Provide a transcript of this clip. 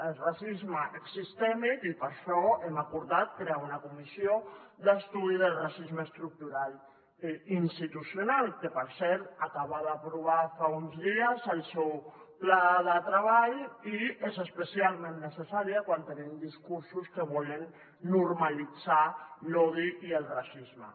el racisme és sistèmic i per això hem acordat crear una comissió d’estudi del racisme estructural i institucional que per cert acaba d’aprovar fa uns dies el seu pla de treball i és especialment necessària quan tenim discursos que volen normalitzar l’odi i el racisme